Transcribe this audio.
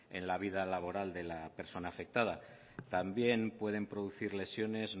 en la vida laboral de la persona afectada también pueden producir lesiones